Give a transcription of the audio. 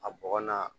A bɔgɔ na